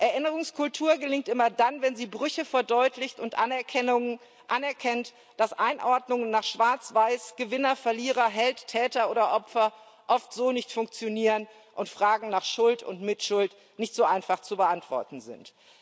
Erinnerungskultur gelingt immer dann, wenn sie Brüche verdeutlicht und anerkennt, dass Einordnungen nach schwarz, weiß, Gewinner, Verlierer, Held, Täter oder Opfer oft so nicht funktionieren und Fragen nach Schuld und Mitschuld nicht so einfach zu beantworten sind.